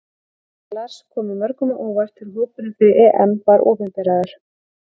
Heimir og Lars komu mörgum á óvart þegar hópurinn fyrir EM var opinberaður.